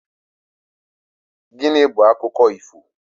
Gịnị bu akụkọ ifo?